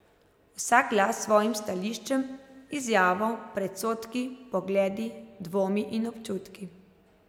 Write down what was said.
Vsak glas s svojim stališčem, izjavo, predsodki, pogledi, dvomi in občutki.